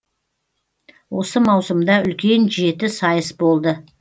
осы маусымда үлкен жеті сайыс болды